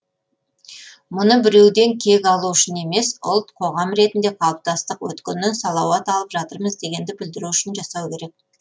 мұны біреуден кек алу үшін емес ұлт қоғам ретінде қалыптастық өткеннен салауат алып жатырмыз дегенді білдіру үшін жасау керек